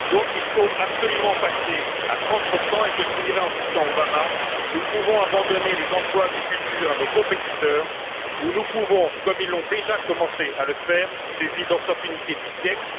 Il faut donc absolument passer à 30 et je finirai en citant Barack Obama Nous pouvons abandonner les emplois du futur à nos compétiteurs ou nous pouvons, comme ils ont déjà commencé à le faire, saisir l'opportunité du siècle.